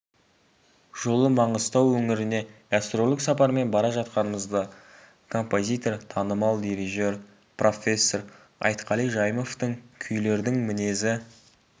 жолы маңғыстау өңіріне гастрольдік сапармен бара жатқанымызда композитор танымал дирижер профессор айтқали жайымовтың күйлердің мінезі